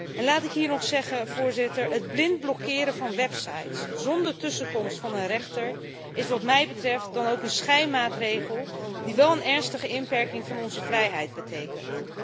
En laat ik hier nog zeggen het blind blokkeren van websites zonder tussenkomst van een rechter is wat mij betreft dan ook een schijnmaatregel die wel een ernstige inperking van onze vrijheid betekent.